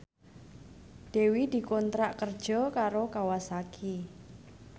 Dewi dikontrak kerja karo Kawasaki